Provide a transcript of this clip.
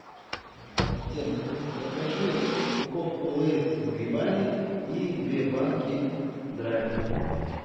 ассистент закажи упаковку лейс с грибами и две банки драйва